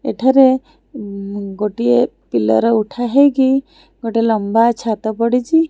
ଏଠାରେ ଗୋଟିଏ ପିଲର ଉଠା ହେଇକି ଗୋଟେ ଲମ୍ବା ଛାତ ପଡ଼ିଛି।